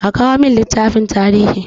A kawo min littafin tarihi!